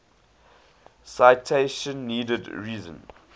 citation needed reason